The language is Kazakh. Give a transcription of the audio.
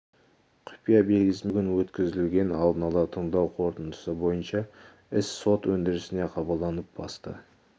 құпия белгісімен түсті бүгін өткізілген алдын ала тыңдау қорытындысы бойынша іс сот өндірісіне қабылданып басты